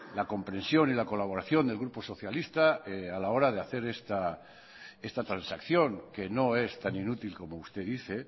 la comprensión y la colaboración del grupo socialista a la hora de hacer esta transacción que no es tan inútil como usted dice